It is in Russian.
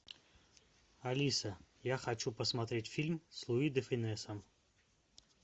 алиса я хочу посмотреть фильм с луи де фюнесом